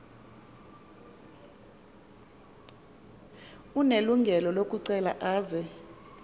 unelungelo lokucela aze